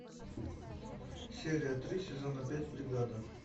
серия три сезона пять бригада